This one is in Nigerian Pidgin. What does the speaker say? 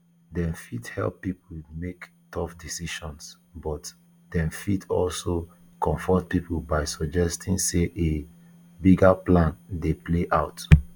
dem fit help pipo to make tough decisions but dem fit also comfort pipo by suggesting say a bigger plan dey play out